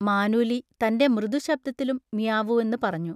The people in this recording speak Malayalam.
മാനൂലി തൻ്റെ മൃദുശബ്ദത്തിലും മിയാവൂ എന്ന് പറഞ്ഞു.